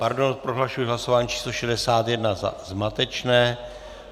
Pardon, prohlašuji hlasování číslo 61 za zmatečné.